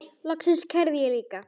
Loks kærði ég líka.